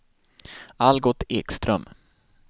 Algot Ekström